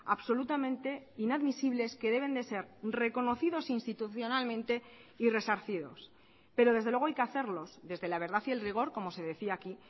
absolutamente inadmisibles que deben de ser reconocidos institucionalmente y resarcidos pero desde luego hay que hacerlos desde la verdad y el rigor como se decía aquí